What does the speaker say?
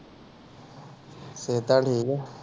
ਸਿਹਤਾਂ ਠੀਕ ਹੈ।